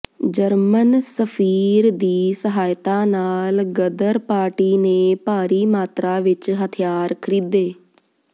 German ਸਫ਼ੀਰ ਦੀ ਸਹਾਇਤਾ ਨਾਲ ਗ਼ਦਰ ਪਾਰਟੀ ਨੇ ਭਾਰੀ ਮਾਤਰਾ ਵਿਚ ਹਥਿਆਰ ਖ੍ਰੀਦੇ